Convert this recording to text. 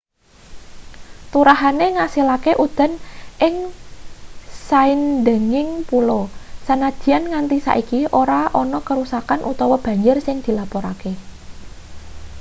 turahane ngasilake udan ing saindenging pulo sanajan nganti saiki ora ana keruksan utawa banjir sing dilapurake